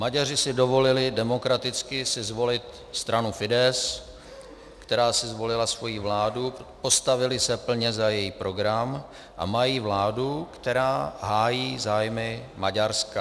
Maďaři si dovolili demokraticky si zvolit stranu Fidesz, která si zvolila svojí vládu, postavili se plně za její program a mají vládu, která hájí zájmy Maďarska.